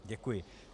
Děkuji.